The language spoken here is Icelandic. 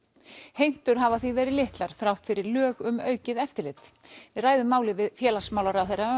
heimtur hafa því verið litlar þrátt fyrir lög um aukið eftirlit við ræðum málið við félagsmálaráðherra